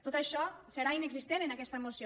tot això serà inexistent en aquesta moció